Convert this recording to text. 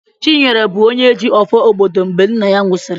Chinyere bụ onye ji "ọfọ" obodo mgbe nna ya nwụsịrị."